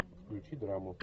включи драму